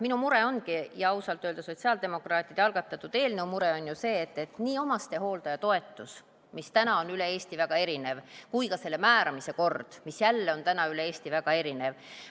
Minu mure ja ausalt öelda sotsiaaldemokraatide eelnõu algatamise põhjus on ju mure, et nii omastehooldaja toetus kui ka selle määramise kord on täna üle Eesti väga erinev.